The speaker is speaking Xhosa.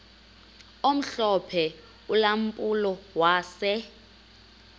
omhlophe ulampulo wase